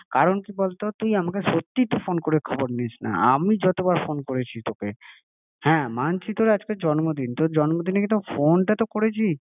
কারণ কি বলতো তুই আমাকে সত্যিই তো ফোন করে খবর নিস না, আমি যতবার ফোন করেছি তোকে হ্যাঁ মানছি তোর আজকে জম্নদিন, তোর জন্মদিনে কি ফোনটা তো তোকে করেছি